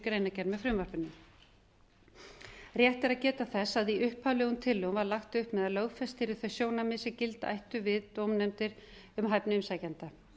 greinargerð með frumvarpinu rétt er að geta þess að í upphaflegum tillögum var lagt upp með að lögfest yrðu þau sjónarmið sem gilda ættu við dómnefndir um hæfni umsækjenda